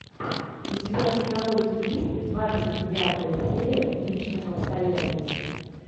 у тебя в каталоге есть двадцать девятая серия личных обстоятельств